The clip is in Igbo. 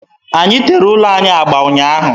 Anyị tere ụlọ anyị agba ụnyaahụ.